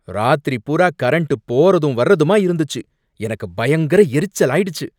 ராத்திரி பூரா கரண்ட் போறதும் வர்றதுமா இருந்துச்சு, எனக்கு பயங்கர எரிச்சலாயிடுச்சு